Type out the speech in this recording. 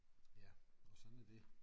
Ja og sådan er det